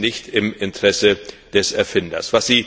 Das ist nicht im Interesse des Erfinders.